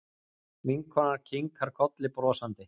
Vinkonan kinkar kolli brosandi.